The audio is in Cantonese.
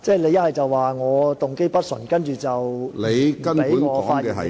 你說我動機不純正，然後不容許我發言......